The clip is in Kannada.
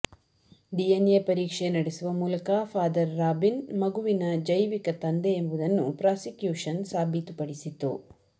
ಡಿಎನ್ ಎ ಪರೀಕ್ಷೆ ನಡೆಸುವ ಮೂಲಕ ಫಾದರ್ ರಾಬಿನ್ ಮಗುವಿನ ಜೈವಿಕ ತಂದೆ ಎಂಬುದನ್ನು ಪ್ರಾಸಿಕ್ಯೂಷನ್ ಸಾಬೀತುಪಡಿಸಿತ್ತು